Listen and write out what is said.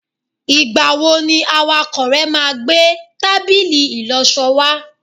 igbawo ni awakọ rẹ ma gbe tábìlì ìloso wa